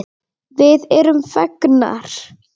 Við erum fegnar.